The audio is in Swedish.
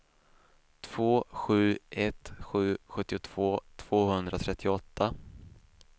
två sju ett sju sjuttiotvå tvåhundratrettioåtta